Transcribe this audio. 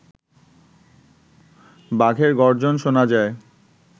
বাঘের গর্জন শোনা যায়